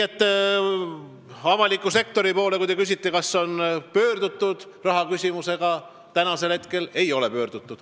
Aga avaliku sektori poole raha küsimisega seni ei ole pöördutud.